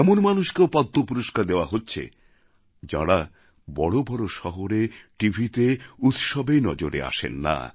এমন মানুষকেও পদ্ম পুরষ্কার দেওয়া হচ্ছে যাঁরা বড় বড় শহরে টিভিতে উৎসবে নজরে আসেন না